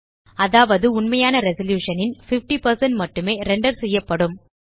அதாவது உண்மையான ரெசல்யூஷன் ன் 50 மட்டுமே ரெண்டர் செய்யப்படும்